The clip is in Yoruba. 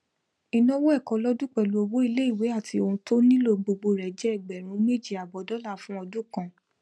ìnáwó ẹkọ lọdún pẹlú owó iléìwé àti ohun tó nílò gbogbo rẹ jẹ ẹgbèrún méjì àbọ dollar fún ọdún kan